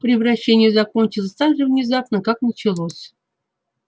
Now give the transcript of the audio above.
превращение закончилось так же внезапно как началось